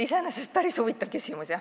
Iseenesest päris huvitav küsimus.